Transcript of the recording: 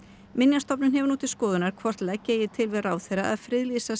minjastofnun hefur nú til skoðunar hvort leggja eigi til við ráðherra að friðlýsa